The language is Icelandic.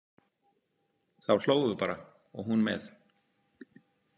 Þá hlógum við bara og hún með.